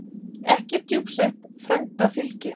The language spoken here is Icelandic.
Ekki er djúpsett frænda fylgi.